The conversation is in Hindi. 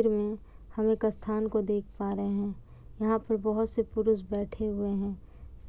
और हम एक स्थान को देख पा रहे हैं। यहाँ पे बहुत से पुरुष बैठे हुए हैं।